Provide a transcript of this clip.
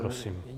Prosím.